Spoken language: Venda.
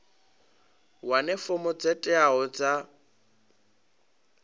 wane fomo dzo teaho dza